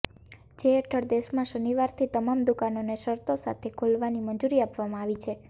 જે હેઠળ દેશમાં શનિવારથી તમામ દુકાનોને શરતો સાથે ખોલવાની મંજૂરી આપવામાં આવી છે